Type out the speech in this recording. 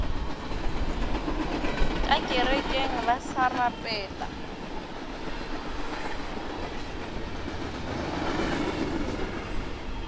ka kerekeng ba sa rapela